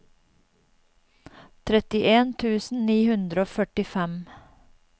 trettien tusen ni hundre og førtifem